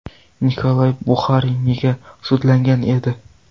Nikolay Buxarin nega sudlangan edi?.